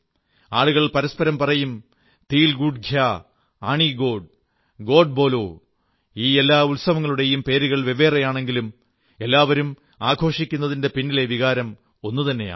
ആളുകൾ പരസ്പരം പറയും തില് ഗുഡ് ഘ്യാ ആണി ഗോഡ് ഗോഡ് ബോലാ ഈ എല്ലാ ഉത്സവങ്ങളുടേയും പേരുകൾ വെവ്വേറെയാണെങ്കിലും എല്ലാവരും ആഘോഷിക്കുന്നതിന്റെ പിന്നലെ വികാരം ഒന്നുതന്നെയാണ്